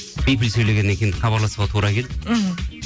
бипіл сөйлегеннен кейін хабарласуға тура келді мхм